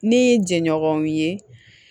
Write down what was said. Ni jɛɲɔgɔnw ye